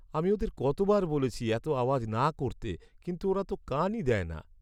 আমি ওদের কতবার বলেছি এত আওয়াজ না করতে, কিন্তু ওরা তো কানই দেয় না।